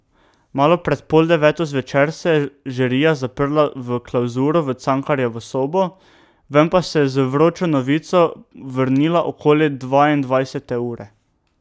Malo pred pol deveto zvečer se je žirija zaprla v klavzuro v Cankarjevo sobo, ven pa se je z vročo novico vrnila okoli dvaindvajsete ure.